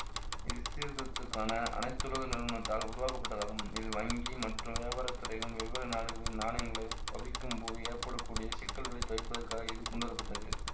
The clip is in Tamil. இது சீர்தரத்துக்கான அனைத்துலக நிறுவனத்தால் உருவாக்கப்பட்டதாகும் இது வங்கி மற்றும் வியாபாரத்துறைகளில் வெவ்வேறு நாடுகளின் நாணயங்களை பவிக்கும் போது ஏற்பட கூடிய சிக்கல்களை தவிர்ப்பதற்காக இது கொண்டுவர பட்டது